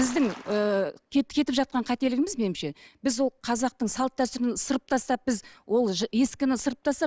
біздің ы кетіп жатқан қателігіміз меніңше біз ол қазақтың салт дәстүрін ысырып тастап біз ол ескіні ысырып тастап